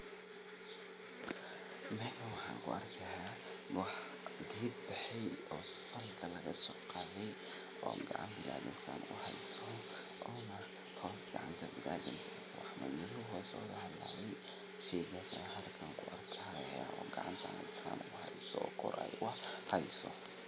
Meesahn waxa kuarka ged baxay oo salka lagasoqade oo gacan sida uheyso ona hoos hadi gacanta lagagaliyo wax madmadow kuhalawe sida an halkan an kuarko oo gacanta an kuarko kor uheyso.